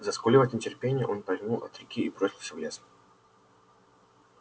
заскулив от нетерпения он повернул от реки и бросился в лес